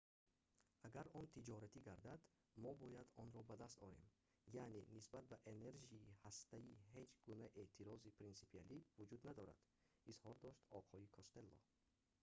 агар он тиҷоратӣ гардад мо бояд онро ба даст орем яъне нисбат ба энержии ҳастаӣ ҳеҷ гуна эътирози принсипиалӣ вуҷуд надорад изҳор дошт оқои костелло